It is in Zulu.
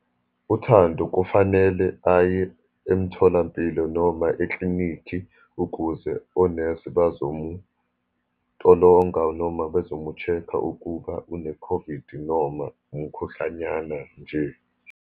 UThando kufanele aye emtholampilo, noma eklinikhi ukuze onesi bazomutolonga, noma bazomu-check-a ukuba une-COVID, noma umkhuhlanyana nje.